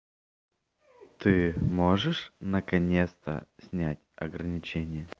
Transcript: ты можешь наконец-то снять ограничение